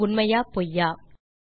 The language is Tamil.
இது உண்மையா பொய்யா